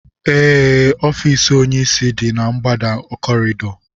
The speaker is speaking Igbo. Ee ọfiisi onyisi dị na ngbada kọrịịdọ